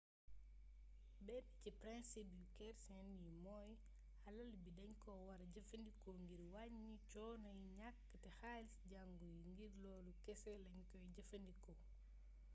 benn ci principe yu kercen yi mooy alal bi dañ ko wara jëfandikoo ngir wàññi coonoy ñàkk te xaalisi jangu yi ngir loolu kese lañ koy jëfandikoo